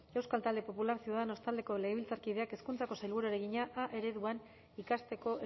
euskal talde popularra ciudadanos taldeko legebiltzarkideak hezkuntzako sailburuari egina a ereduan ikasteko